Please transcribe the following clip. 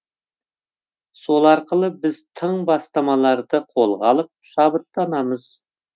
сол арқылы біз тың бастамаларды қолға алып шабыттанамыз